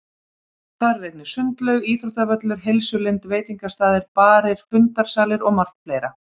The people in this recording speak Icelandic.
Þar er einnig sundlaug, íþróttavöllur, heilsulind, veitingastaðir, barir, fundarsalir og margt fleira.